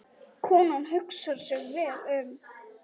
Konan hugsar sig vel um.